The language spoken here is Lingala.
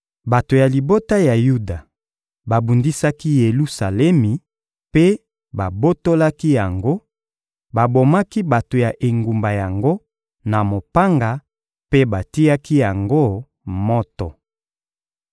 Bato ya libota ya Yuda babundisaki Yelusalemi mpe babotolaki yango; babomaki bato ya engumba yango na mopanga mpe batiaki yango moto.